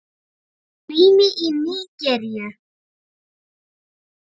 Rima í Nígeríu